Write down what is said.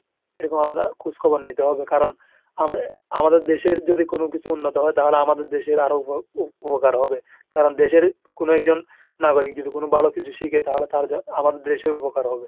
এরকম আমাদের খোঁজখবর নিতে হবে। কারণ আমা~ আমাদের দেশের যদি কোন কিছু উন্নত হয় তাহলে আমাদের দেশের আরো উপ~ উপকার হবে। কারণ দেশের কোন একজন নাগরিক যদি কোন ভালো কিছু শিখে তাহলে~ তাহলে তো আমাদের দেশের উপকার হবে।